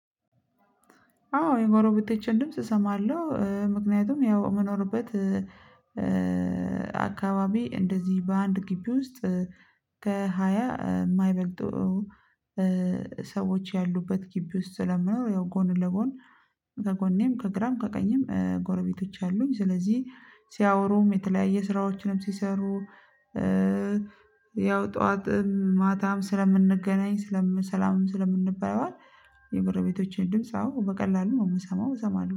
አዎ የጎረቤቶቼን ድምጽ እሰማለሁ ምክንያቱም ያው የምኖርበት አካባቢ እንደዚህ በአንድ ግቢ ውስጥ ከሃያ የማይበልጡ ሰዎች ያሉበት ግቢ ውስጥ ስለምኖር ያው ጎን ለጎን ከጎኔም ከግራም ከቀኝም ጎረቤቶች አሉኝ ስለዚህ ሲያወሩም የተለያየ ስራዎችንም ሲሰሩ ያው ጠዋት ማታም ስለምንገናኝ ስለምን ሰላምም ስለምንባባል የጎረቤቶቼን ድምጽ አዎ በቀላሉ ነው የምሰማው እሰማለሁ